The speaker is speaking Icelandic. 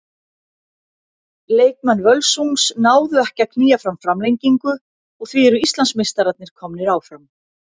Leikmenn Völsungs náðu ekki að að knýja fram framlengingu og því eru Íslandsmeistararnir komnir áfram.